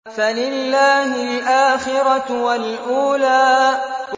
فَلِلَّهِ الْآخِرَةُ وَالْأُولَىٰ